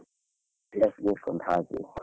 ಹಾಗೆ.